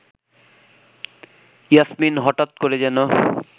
ইয়াসমিন হঠাৎ করে যেন